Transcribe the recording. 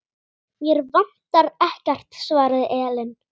Mig vantar ekkert, svaraði Ellen.